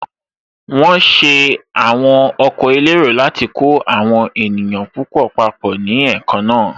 Wọ́n ṣe àwọn ọkọ̀ elérò láti kó àwọn èèyàn púpọ̀ papọ̀ ní èékánná